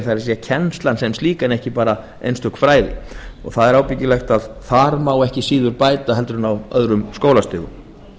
það kennslan sem slík en ekki bara einstök fræði það er ábyggilegt að þar má ekki síður bæta úr en á öðrum skólastigum